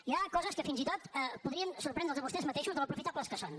hi ha coses que fins i tot podrien sorprendre’ls a vostès mateixos de com d’aprofitables són